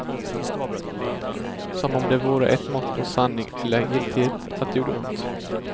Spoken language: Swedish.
Som om det vore ett mått på sanning eller giltighet, att det gjorde ont.